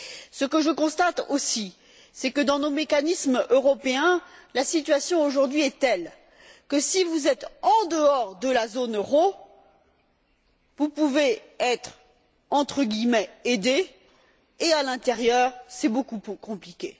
Ce que je constate aussi, c'est que, dans nos mécanismes européens, la situation aujourd'hui est telle que, si vous êtes en dehors de la zone euro, vous pouvez être aidé, alors qu'à l'intérieur, c'est beaucoup plus compliqué.